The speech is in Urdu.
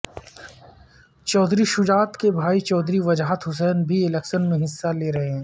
چودھری شجاعت کے بھائی چودھری وجاہت حسین بھی الیکشن میں حصہ لے رہے ہیں